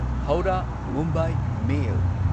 ꯍꯧꯔꯥ Mumbai ꯃꯦꯜ